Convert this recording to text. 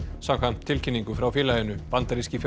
samkvæmt tilkynningu frá félaginu bandaríski